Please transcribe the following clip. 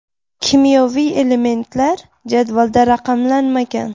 Kimyoviy elementlar jadvalda raqamlanmagan.